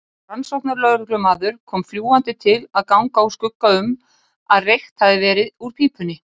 Rannsóknarlögreglumaður kom fljúgandi til að ganga úr skugga um að reykt hefði verið úr pípunni.